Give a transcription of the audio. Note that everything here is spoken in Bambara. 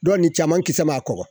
Dɔ nin caman kisɛ ma kɔkɔ